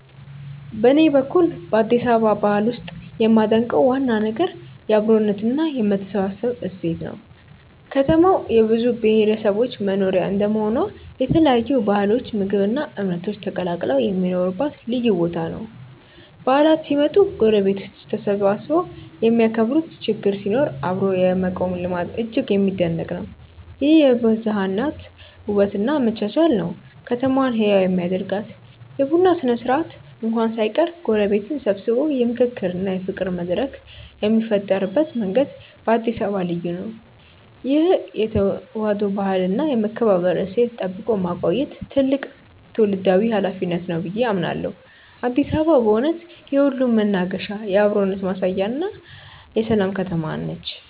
በኔ በኩል በአዲስ አበባ ባህል ውስጥ የማደንቀው ዋና ነገር የአብሮነትና የመተሳሰብ እሴት ነው። ከተማዋ የብዙ ብሔረሰቦች መኖሪያ እንደመሆኗ የተለያዩ ባህሎች ምግቦች እና እምነቶች ተቀላቅለው የሚኖሩበት ልዩ ቦታ ነው። በዓላት ሲመጡ ጎረቤቶች ተሰባስበው የሚያከብሩበት ችግር ሲኖር አብሮ የመቆም ልማድ እጅግ የሚደነቅ ነው። ይህ የብዝሃነት ውበት እና መቻቻል ነው ከተማዋን ህያው የሚያደርጋት። የቡና ስነ-ስርዓት እንኳን ሳይቀር ጎረቤትን ሰብስቦ የምክክርና የፍቅር መድረክ የሚፈጥርበት መንገድ በአዲስ አበባ ልዩ ነው። ይህን የተዋህዶ ባህልና የመከባበር እሴት ጠብቆ ማቆየት ትልቅ ትውልዳዊ ኃላፊነት ነው ብዬ አምናለሁ። አዲስ አበባ በእውነት የሁሉም መናገሻ፣ የአብሮነት ማሳያና የሰላም ከተማ ነች።